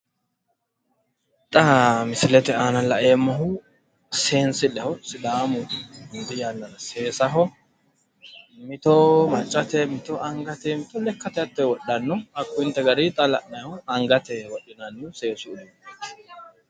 Xa misilete aana laeemmohu seensilleho sidaamu hundi yannara seesaho mito maccate mito angate mito lekkate hatto wodhanno. Hakkuyinte gariyi xa la'nayihu angate wodhinayihu seesu uduunnichooti.